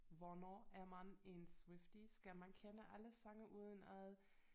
Hvornår er man en Swiftie skal man kende alle sange udenad